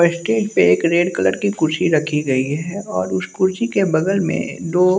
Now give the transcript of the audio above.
अ stage पर एक red colour की कुर्सी रखी गई है और उस कुर्सी के बगल में दो--